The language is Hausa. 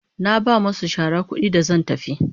Na ba masu shara kudi da zan tafi.